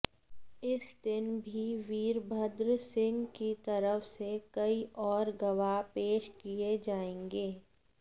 इस दिन भी वीरभद्र सिंह की तरफ से कई और गवाह पेश किए जाएंगे